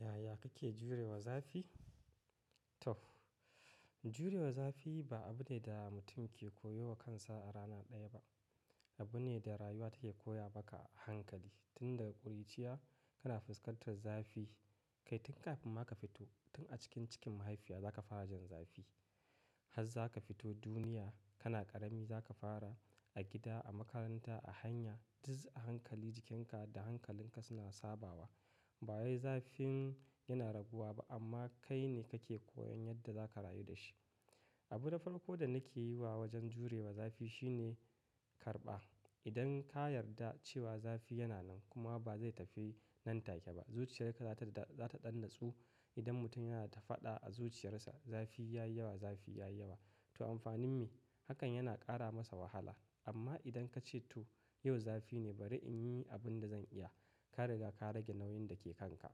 Yaya kake jurewa zafi? To, jurewa zafi ba abu ne da mutum ke koyo wa kansa a rana ɗaya ba. Abu ne da rayuwa take koya maka a hankali. Tun daga ƙuruciya kana fuskantar zafi. Kai tun kafin ma ka fito tun a cikin cikin mahaifiya zaka fara jin zafi. Haz zaka fito duniya kana ƙarami zaka fara a gida, a makaranta, a hanya duk a hankali jikinka da hankalinka suna sabawa. Ba wai zafin yana raguwa ba amma kai ne kake koyan yadda zaka rayu da shi. Abu na farko da nake yi wa wajen jurewa zafi shine karɓa. Idan ka yarda cewa zafi yana nan kuma ba zai tafi nan take ba, zuciyarka za ta, za ta ɗan natsu. Idan mutum yana ta faɗa a zuciyarsa zafi ya yi yawa, zafi ya yi yawa, to amfanin me? Hakan yana ƙara masa wahala. Amma idan ka ce to yau zafi ne bari in yi abin da zan iya, ka riga ka rage nauyin da ke kanka.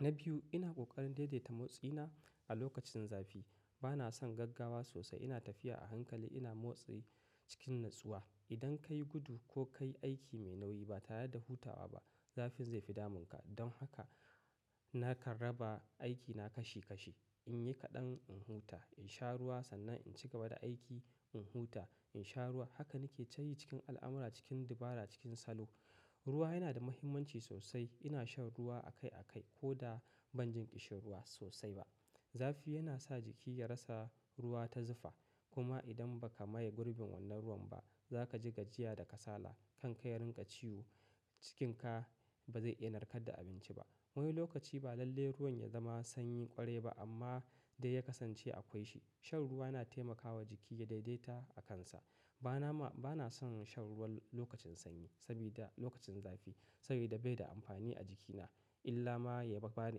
Na biyu, ina ƙoƙarin daidaita motsina a lokacin zafi. Ba na son gaggawa sosai. Ina tafiya a hankali, ina motsi cikin natsuwa. Idan ka yi gudu ko ka yi aiki mai nauyi ba tare da hutawa ba, zafin zai fi damunka. Don haka nakan raba aikina kashi kashi. In yi kaɗan in huta, in sha ruwa sannan in cigaba da aiki, in huta, in sha ruwa, Haka nake tayi cikin al'amura, cikin dabara, cikin salo. Ruwa yana da muhimmanci sosai. Ina shan ruwa akai akai ko da ban jin ƙishin ruwa sosai ba. Zafi yana sa jiki ya rasa ruwa ta zufa. Kuma idan ba ka maye gurbin wannan ruwan ba, za ka ji gajiya da kasala. Kan ka ya rinƙa ciwo, cikinka ba zai iya narkar da abinci ba. Wani lokaci ba lalle ruwan ya zama sanyi ƙwarai ba amma dai ya kasance akwai shi. Shan ruwa na taimakawa jiki ya daidaita akansa. Ba na ma, ba na son shan ruwan lokacin sanyi sabida lokacin zafi, sabida bai da amfani a jikina illa ma ya ba ni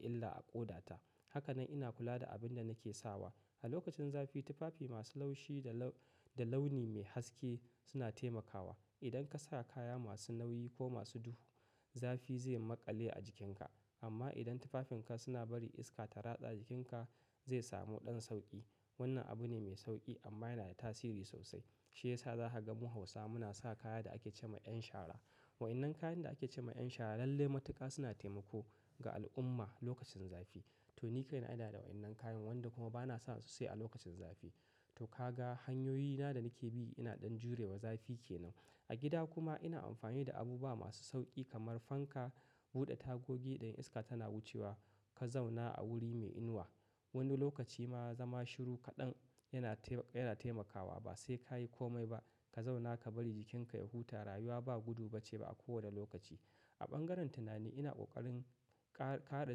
illa a ƙoda ta. Hakane ina kula da abin da nake sawa. A lokacin zafi tufafi masu laushi da lau-da launi mai haske suna taimakawa. Idan ka sa kaya masu nauyi ko masu duhu, zafi zai yi maƙale a jikinka. Amma idan tufafinka suna bari iska ta ratsa jikinka zai samu ɗan sauƙi. Wannan abu ne mai sauƙi amma yana da tasiri sosai. Shi ya sa za ka ga mu Hausa muna sa kaya da ake ce ma 'yan shara. Wa'ennan kayan da ake ce ma 'yan shara lalle matuƙa suna taimako ga al'umma lokacin zafi. To ni kai na ina da wa'ennan kayan wanda kuma ba na sa su sai a lokacin zafi. To ka ga hanyoyina da nake bi ina ɗan jurewa zafi ke nan. A gida kuma ina amfani da abubuwa masu sauƙi kamar fanka, buɗe tagogi idan iska tana wucewa, ka zauna a wuri mai inuwa. Wani lokaci ma zama shiru kaɗan yana taima-yana taimakawa ba sai ka yi kome ba. Ka zauna ka bari jikinka ya huta. Rayuwa ba gudu ba ce a kowane lokaci. A bangaren tunani ina ƙoƙarin kare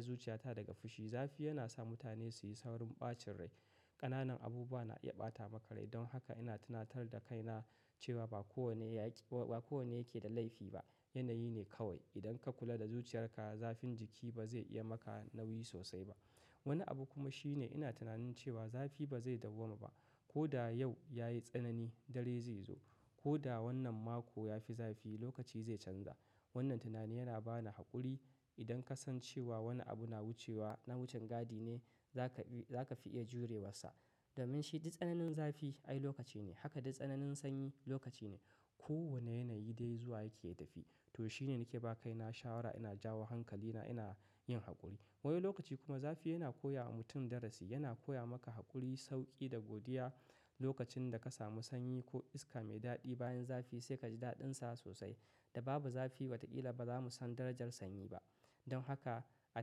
zuciyata daga fushi. Zafi yana sa mutane su yi saurin ɓacin rai. Ƙananan abubuwa na iya ɓata maka rai. Don haka ina tunatar da kaina cewa ba kowane yaƙi-ba kowane yake da laifi ba. Yanayi ne kawai. Idan ka kula da zuciyarka, zafin jiki ba zai iya maka nauyi sosai ba. Wani abu kuma shine ina tunanin cewa zafi ba zai dauwama ba. Ko da yau ya yi tsanani, dare zai zo. Ko da wannan mako ya fi zafi, lokaci zai canza. Wannan tunani yana ba ni haƙuri. Dan ka san cewa wani abu na wucewa, na wucin gadi ne, za ka bi za ka fi iya jurewasa. Domin shi, duk tsananin zafi ai lokaci ne. Haka duk tsananin sanyi lokaci ne. Kowane yanayi dai zuwa yake yatafi. To shi ne nake ba kaina shawara, ina jawo hankalina, ina yin haƙuri. Wani lokaci kuma zafi yana koya wa mutum darasi. Yana koya maka haƙuri, sauƙi da godiya. Lokacin da ka samu sanyi ko iska mai daɗi bayan zafi sai ka ji daɗinsa sosai. Da babu zafi watakila ba za mu san darajar sanyi ba. Don haka a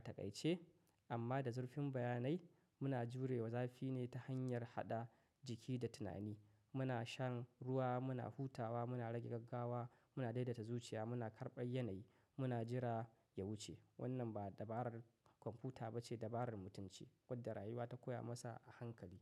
taƙaice amma da zurfin bayanai muna jurewa zafi ne ta hanyar haɗa jiki da tunani. Muna shan ruwa, muna hutawa, muna rage gaggawa, muna daidaita zuciya, muna karɓar yanayi, muna jira ya wuce. Wannan ba dabarar kwamfuta ba ce, dabarar mutum ce wadda rayuwa ta koya masa a hankali.